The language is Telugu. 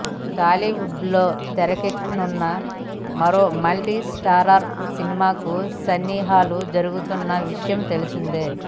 టాలీవుడ్ లో తెరకెక్కనున్న మరో మల్టి స్టారర్ సినిమాకు సన్నాహాలు జరుగుతున్నా విషయం తెలిసిందే